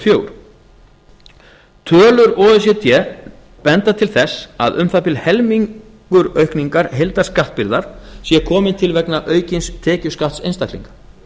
fjórar tölur o e c d benda til þessa að um það bil helmingur aukningar heildarskattbyrðar sé kominn til vegna aukins tekjuskatts einstaklinga